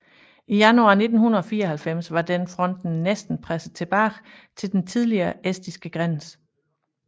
I januar 1944 var den fronten næsten presset tilbage til den tidligere estiske grænse